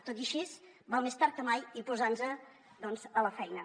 tot i així val més tard que mai i posar nos doncs a la feina